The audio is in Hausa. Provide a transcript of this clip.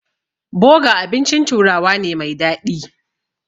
Boga abincin turawa ne mai daɗi.